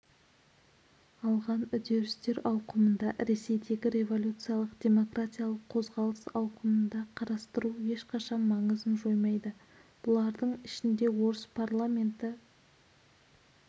алған үдерістер ауқымында ресейдегі революциялық-демократиялық қозғалыс ауқымында қарастыру ешқашан маңызын жоймайды бұлардың ішінде орыс парламенті